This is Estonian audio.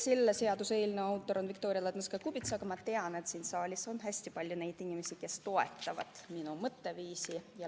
Selle seaduseelnõu autor on Viktoria Ladõnskaja-Kubits, aga ma tean, et siin saalis on hästi palju neid inimesi, kes toetavad minu mõtteviisi.